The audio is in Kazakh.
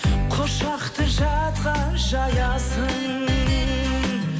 құшақты жатқа жаясың